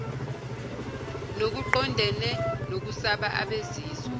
nokuqondene nokusaba abezizwe